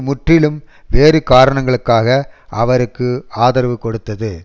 முற்றிலும் வேறு காரணங்களுக்காக அவருக்கு ஆதரவு கொடுத்தது